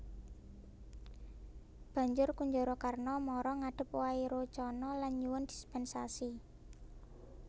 Banjur Kunjarakarna mara ngadhep Wairocana lan nyuwun dispènsasi